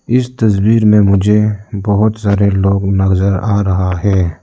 इस तस्वीर में मुझे बहोत सारे लोग नजर आ रहा है।